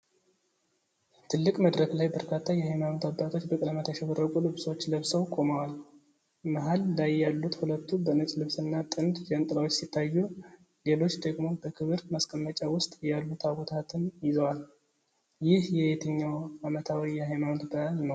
ትልቅ መድረክ ላይ በርካታ የሃይማኖት አባቶች በቀለማት ያሸበረቁ ልብሶች ለብሰው ቆመዋል። መሃል ላይ ያሉት ሁለቱ በነጭ ልብስና ጥንድ ጃንጥላዎች ሲታዩ፣ ሌሎች ደግሞ በክብር ማስቀመጫ ውስጥ ያሉ ታቦታትን ይዘዋል። ይህ የትኛው ዓመታዊ የሃይማኖት በዓል ነው?